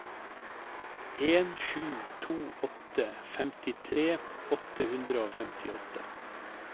en sju to åtte femtitre åtte hundre og femtiåtte